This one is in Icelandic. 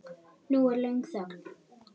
Nú er löng þögn.